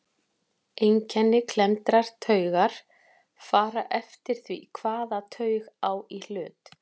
Einkenni klemmdrar taugar fara eftir því hvaða taug á í hlut.